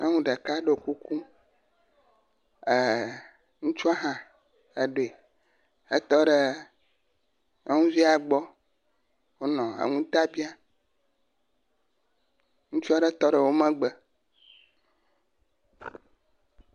Nyɔnu ɖek ɖo kuku ee ŋutsua hã eɖoe etɔ ɖe nyɔnuvia gbɔ wonɔ enu ta biam. Ŋutsu aɖe tɔ ɖe wo megbe.